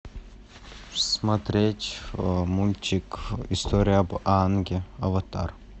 смотреть мультик история об аанге аватар